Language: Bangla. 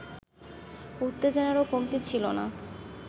উত্তেজনারও কমতি ছিল না